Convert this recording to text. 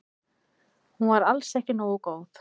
Hún var alls ekki nógu góð.